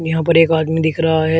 यहां पर एक आदमी दिख रहा है।